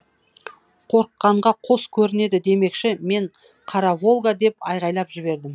қорыққанға қос көрінеді демекші мен қара волга деп айғайлап жібердім